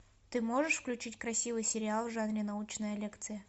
ты можешь включить красивый сериал в жанре научная лекция